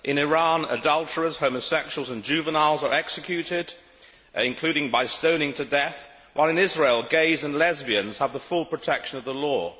In Iran, adulterers, homosexuals and juveniles are executed, including by stoning to death, while in Israel gays and lesbians have the full protection of the law.